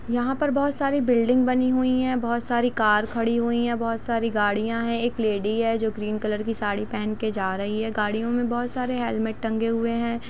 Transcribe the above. यहा पर बहुत सारी बिल्डिंग बनी हुई है बहुत सारी कार खड़ी हुई है बहुत सारी गाड़िया है एक लेडी है जो क्रीम कलर की साड़ी पहन के जा रही है गाड़ियों में बहुत सारे हेलमेट टंगे हुए है।